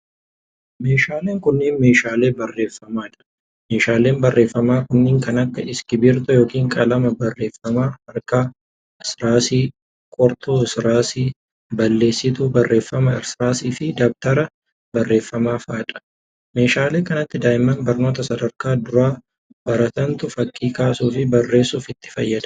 Meeshaaleen kunneen meeshaalee barreeffamaa dha. Meeshaaleen barreeffamaa kunneen kan akka:iskiriiptoo yokin qalama barreeffama harkaa, irsaasii, qortuu irsaasii, balleessituu barreeffama irsaasii fi dabtara barreeffamaa faa dha. Meeshaalee kanatti daa'imman barnoota sadarkaa duraa baratantu fakkii kaasuu fi bareessuuf itti fayyadama.